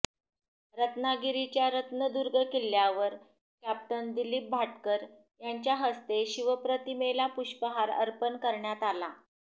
रत्नागिरीच्या रत्नदुर्ग किल्ल्यावर कॅप्टन दिलीप भाटकर यांच्या हस्ते शिवप्रतिमेला पुष्पहार अर्पण करण्यात आला